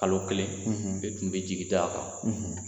Kalo kelen i tun b'i jigi da a kan,